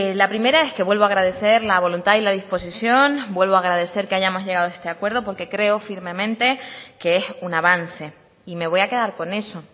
la primera es que vuelvo a agradecer la voluntad y la disposición vuelvo a agradecer que hayamos llegado a este acuerdo porque creo firmemente que es un avance y me voy a quedar con eso